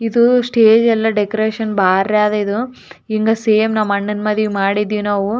ಅಹ್‌ ಚೊಲೊ ಆದ ದೊಡ್ಡ ಫಂಕ್ಷನ್‌ ಹಾಲ ಅನಸ್ತದ ಇದು.